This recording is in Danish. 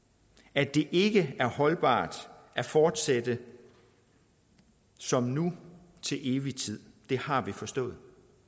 at det ikke er holdbart at fortsætte som nu til evig tid har vi forstået